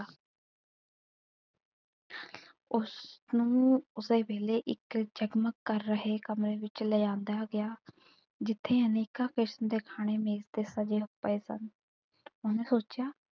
ਉਸ ਨੂੰ ਉਸੇ ਵੇਲੇ ਇੱਕ ਜਗਮਗ ਕਰ ਰਹੇ ਕਮਰੇ ਵਿੱਚ ਲਿਜਾਂਦਾ ਗਿਆ ਜਿੱਥੇ ਅਨੇਕਾਂ ਕਿਸਮ ਦੇ ਖਾਣੇ ਮੇਜ਼ ਤੇ ਸਜੇ ਪਏ ਸਨ. ਉਹਨੇ ਸੋਚਿਆ,